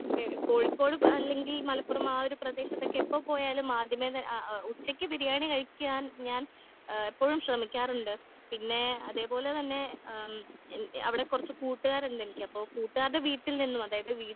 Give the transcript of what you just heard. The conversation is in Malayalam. എ കോഴിക്കോട് അല്ലെങ്കിൽ മലപ്പുറം ആ ഒരു പ്രേദേശത്തക്കെ എപ്പോ പോയാലും ആദ്യമേ ത ആ ഓ ഉച്ചക്ക് ബിരിയാണി കഴിക്കാൻ ഞാൻ ഏഹ് എപ്പോഴും ശ്രെമിക്കാറുണ്ട്. പിന്നെ അതേപോലെ തന്നെ അം എനിക്ക് അവിടെ കുറച്ച് കൂട്ടുക്കാരിണ്ട് എനിക്ക് അപ്പൊ കൂട്ടുകാരുടെ വീട്ടിൽ നിന്ന് അതായത്